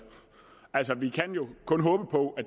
altså vi kan jo kun håbe på at